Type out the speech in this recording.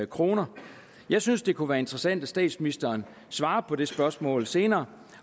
kroner jeg synes det kunne være interessant at statsministeren svarer på det spørgsmål senere